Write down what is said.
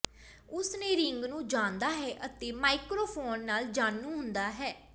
ਉਸ ਨੇ ਰਿੰਗ ਨੂੰ ਜਾਣਦਾ ਹੈ ਅਤੇ ਮਾਈਕ੍ਰੋਫੋਨ ਨਾਲ ਜਾਣੂ ਹੁੰਦਾ ਹੈ